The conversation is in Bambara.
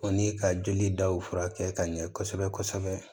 O ni ka joli daw furakɛ ka ɲɛ kosɛbɛ kosɛbɛ